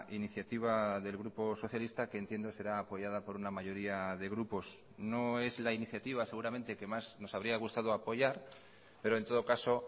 iniciativa del grupo socialistaque entiendo será apoyada por una mayoría de grupos no es la iniciativa seguramente que más nos habría gustado apoyar pero en todo caso